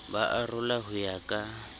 ba arola ho ya ka